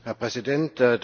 Herr Präsident!